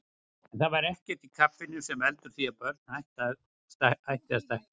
En það er ekkert í kaffinu sem veldur því að börn hætti að stækka.